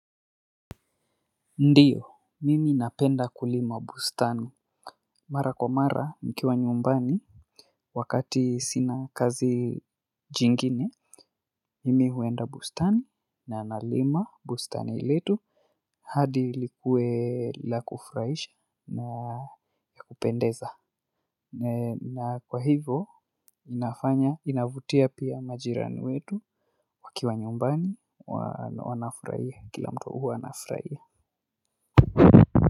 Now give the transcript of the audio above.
Ndiyo mimi napenda kulima bustani mara kwa mara nikiwa nyumbani wakati sina kazi jingine mimi huenda bustani na nalima bustan letu hadi likue la kufurahisha na ya kupendeza na kwa hivyo inafanya inavutia pia majirani wetu wakiwa nyumbani wanafurahia kila mtu huwa anafurahia.